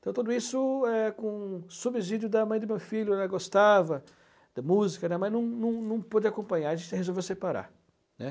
Então, tudo isso é com subsídio da mãe do meu filho, ela gostava da música, né, mas não não não pôde acompanhar, a gente resolveu separar, né.